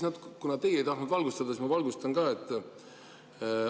Kuna teie ei tahtnud valgustada, siis ma valgustan ka teisi.